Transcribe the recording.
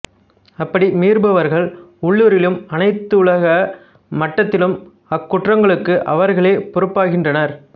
அப்படி மீறுபவர்கள் உள்ளுரிலும் அனைத்துலக மட்டத்திலும் அக்குற்றங்களுக்கு அவர்களே பொறுப்பாகின்றனர்